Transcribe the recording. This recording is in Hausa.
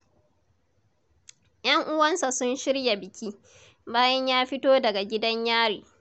Yan uwansa sun shirya biki, bayan ya fito daga gidan Yari.